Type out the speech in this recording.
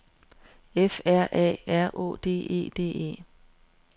F R A R Å D E D E